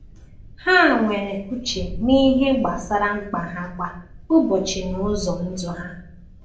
Ha nwere uche n’ihe gbasara mkpa ha kwa ụbọchị na ụzọ ndụ ha.